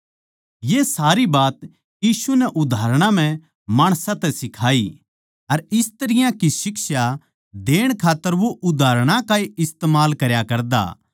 ये सारी बात यीशु नै उदाहरणां म्ह माणसां तै सिखाई अर इस तरियां की शिक्षा देण खात्तर वो उदाहरणां का ए इस्तमाल करया करता